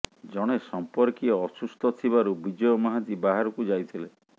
ଜଣେ ସମ୍ପର୍କୀୟ ଅସୁସ୍ଥ ଥିବାରୁ ବିଜୟ ମହାନ୍ତି ବାହାରକୁ ଯାଇଥିଲେ